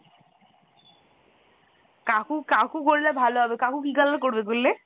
কাকু কাকু করলে ভালো হবে , কাকু কি color করবে করলে?